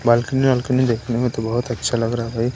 Balcony balcony देखने में तो बहुत अच्छा लग रहा है भाई।